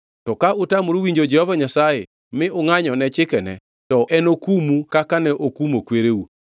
To ka utamoru winjo Jehova Nyasaye, mi ungʼanyone chikene, to enokumu kaka ne okumo kwereu.